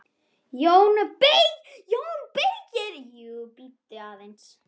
JÓN BEYKIR: Jú, bíddu aðeins!